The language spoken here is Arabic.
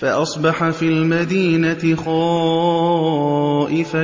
فَأَصْبَحَ فِي الْمَدِينَةِ خَائِفًا